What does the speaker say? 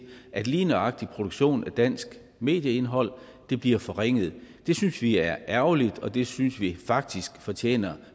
at lige nøjagtig produktion af dansk medieindhold bliver forringet det synes vi er ærgerligt og det synes vi faktisk fortjener